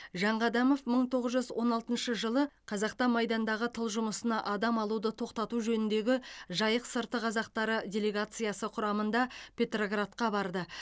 жанқадамов мың тоғыз жүз он алтыншы жылы қазақта майдандағы тыл жұмысына адам алуды тоқтату жөніндегі жайық сырты қазақтары делегациясы құрамында петроградқа барды